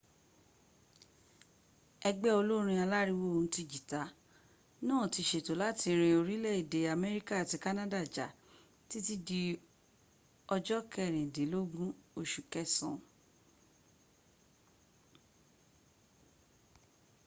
ẹgbé olórin alàriwo ohùn ti jìtá náà tí sétó làti rin orílẹ̀-èdè améríkà àti canada já títí di ọjọ́ kẹrìndínlógún osù kẹsàn